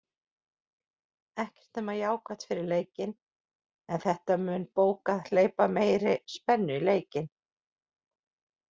Ekkert nema jákvætt fyrir leikinn, en þetta mun bókað hleypa meiri spennu í leikinn.